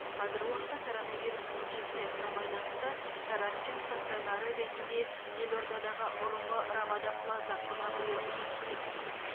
қазіргі уақытта коронавирус инфекциясына байланысты карантин стацонары ретінде елордадағы бұрынғы рамада плаза қонақ үйі жұмыс істеп тұр